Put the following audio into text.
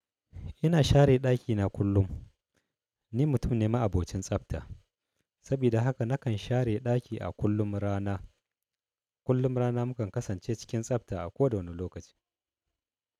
Ina share ɗakina kullum. Ni mutum ne ma'abocin tsabta. Sabida haka nakan share ɗaki a kullum rana. Kullum rana mukan kasance cikin tsabta a koda wane lokaci.